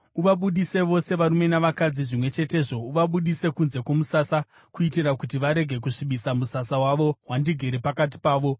Uvabudise vose varume navakadzi zvimwe chetezvo; uvabudise kunze kwomusasa kuitira kuti varege kusvibisa musasa wavo, wandigere pakati pavo.”